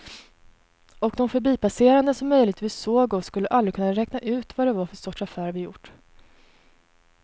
Och de förbipasserande som möjligtvis såg oss skulle aldrig kunna räkna ut vad det var för sorts affär vi gjort.